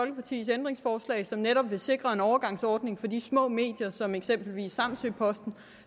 ændringsforslag som netop vil sikre en overgangsordning for de små medier som eksempelvis samsø posten